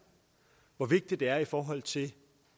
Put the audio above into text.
og hvor vigtigt det er i forhold til